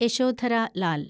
Yashodhara Lal